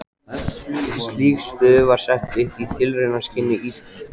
Slík stöð var sett upp í tilraunaskyni í